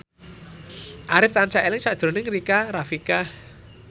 Arif tansah eling sakjroning Rika Rafika